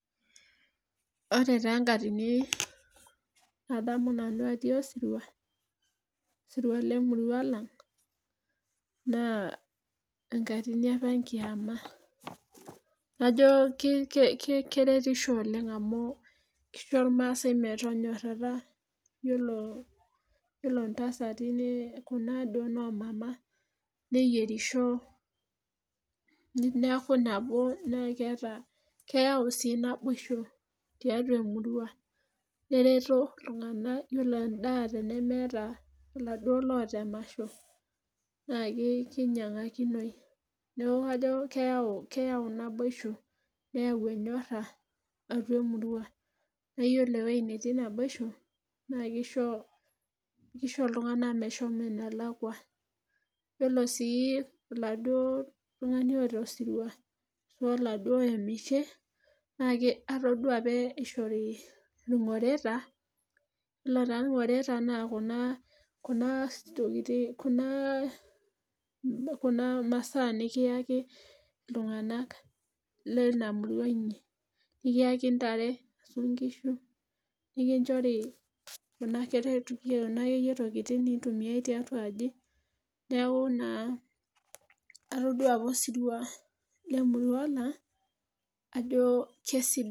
Ore taa enkatin nadamu nanu atii osirua, osirua lemurua ang' naa enkatini apa enkiama najo keretisho oleng' amuu keisho irrmaasai metonyorata iyolo intasatin Kuna duo noo mama neyierisho neaku naboo naa keyau sii naboisho tiatua emurua nereto iltung'anak naa iyolo endaa tenemeetaa iladuoo laata emasho naa keinyang'akinoi ,neeku kajo keyau naboishoi neyau enyorra atua emurua, naa iyoli ewei netii naboisho naa keisho iltung'anak meshomo enelakua, iyolo sii iladuoo tung'ani oota osirwa aashu oladuoo oemishe naa atodua apa eishori ilng'oreta, iyolo taa ilong'oreta naa kuna tokiting' Kuna masaaa nikiaki ilting'anak leina murwa inyi, nikiaki intare ,inkishu ,nikinchori kuna akeyie tokiting' naitumiyai tiatua ajii neeku naa atodua apa osirwa le murwa naa ajoo kesidai.